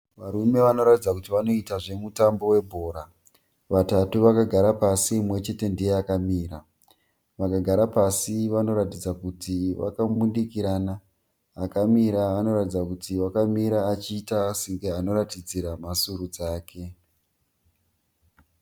Varume vanoratidza kuti vanoita zvemutambo webhora. Vatatu vakagara pasi mumwe chete ndiye akamira. Vakagara pasi vanoratidza kuti vakambundikirana. Akamira anoratidza kuti akamira achiita senge anoratidzira mhasuro dzake.